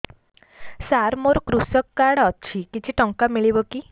ସାର ମୋର୍ କୃଷକ କାର୍ଡ ଅଛି କିଛି ଟଙ୍କା ମିଳିବ କି